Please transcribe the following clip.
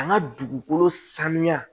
An ka dugukolo sanuya